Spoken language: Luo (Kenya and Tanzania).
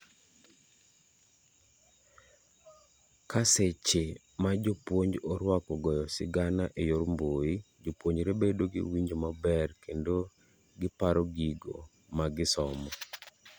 kaseche majopuonj oruako goyo sigana eyor mbui ijopuonjre bedo gi winjo maber kendo giparo gigo magisomo